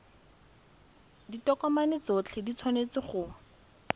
ditokomane tsotlhe di tshwanetse go